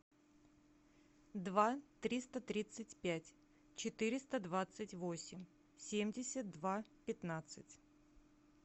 два триста тридцать пять четыреста двадцать восемь семьдесят два пятнадцать